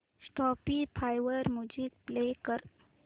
Spotify वर music play कर